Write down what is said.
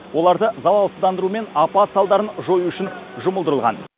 оларды залалсыздандыру мен апат салдарын жою үшін жұмылдырылған